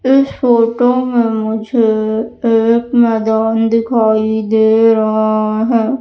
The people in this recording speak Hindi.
इस फोटो में मुझे एक मैदान दिखाई दे रहा है।